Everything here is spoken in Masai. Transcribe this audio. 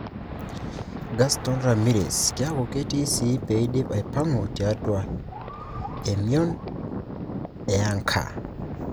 Gaston Ramirez kiaku ketii sii peidip aipangu tiatua emion e anka.